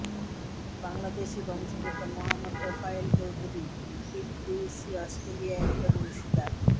বাংলাদেশি বংশোদ্ভূত মোহাম্মদ তোফায়েল চৌধুরী পিডব্লিউসি অস্ট্রেলিয়ায় একজন অংশীদার